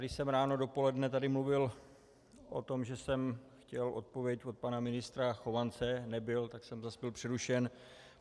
Když jsem ráno, dopoledne tady mluvil o tom, že jsem chtěl odpověď od pana ministra Chovance, nebyl, tak jsem zase byl přerušen.